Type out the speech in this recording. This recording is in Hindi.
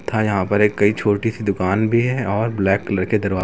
तथा यहां पर ये कई छोटी सी दुकान भी है और ब्लैक कलर के दरवा--